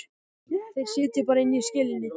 Þeir sitja bara inni í skelinni.